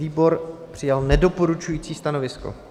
Výbor přijal nedoporučující stanovisko.